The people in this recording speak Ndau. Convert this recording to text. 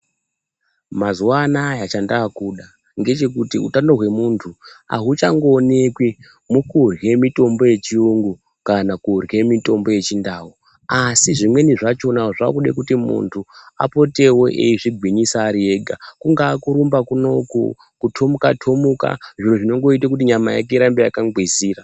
Mazuva anaya chandaakuda ndechekuti utano hwemuntu hauchangoonekwi mukrye mitombo yechiyungu kana kurye mitombo yechindau. Asi zvimweni zvachona zvaakude kuti muntu apotewo eizvigwinyisa ari ega. Kungaa kurumba kuno uko kutomuka-tomuka zviro zvinongoite kuti nyama yake inge yakangwizira.